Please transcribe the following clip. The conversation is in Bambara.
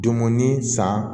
Dumuni san